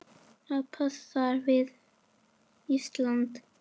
Það passar vel við Ísland.